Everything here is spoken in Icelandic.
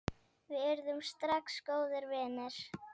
Við urðum strax góðir vinir.